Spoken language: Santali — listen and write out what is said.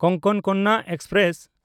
ᱠᱳᱝᱠᱚᱱ ᱠᱚᱱᱱᱟ ᱮᱠᱥᱯᱨᱮᱥ